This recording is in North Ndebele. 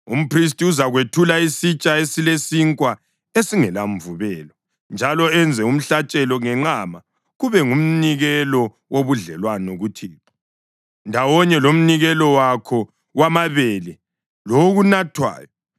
Umphristi uzakwethula isitsha esilesinkwa esingelamvubelo njalo enze umhlatshelo ngenqama kube ngumnikelo wobudlelwano kuThixo, ndawonye lomnikelo wakho wamabele lowokunathwayo.